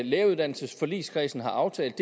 læreruddannelsesforligskredsen har aftalt